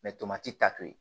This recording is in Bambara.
tomati ta to ye